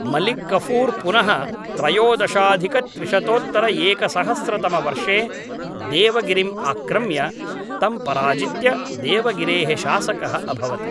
मलिक् कफूर् पुनः त्रयोदशाधिकत्रिशतोत्तरएकसहस्रतमवर्षे देवगिरिम् आक्रम्य, तं पराजित्य देवगिरेः शासकः अभवत्।